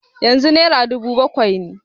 Yanzu naira dubu bakwai ne.